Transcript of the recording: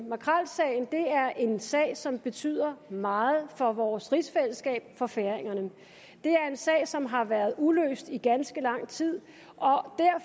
makrelsagen er en sag som betyder meget for vores rigsfællesskab og for færingerne det er en sag som har været uløst i ganske lang tid